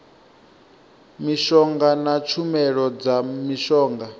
mishonga na tshumelo dza mishonga